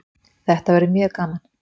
Þetta verður mjög gaman